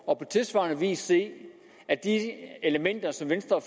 og på tilsvarende vis se at de elementer som venstre